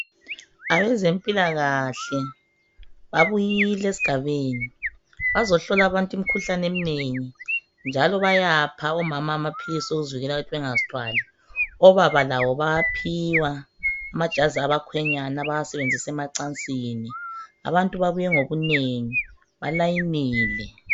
abazempilakahke babuyile esgabeni bazohlola abantu imikhuhlane eminengi njalo bayapha omama amaphilusi wokuzivikela ukubana bengazithwali obaba labo bayaphiwa amajazi abakhwenyanya abaqasebenzisa ecansini abantu babuye ngobunengi ba layinile